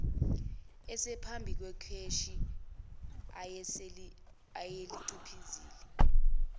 esephambi kwekheshi ayeliciphizile